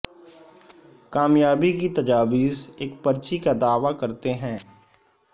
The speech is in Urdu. کامیابی کی تجاویز ایک پرچی کا دعوی کرتے ہیں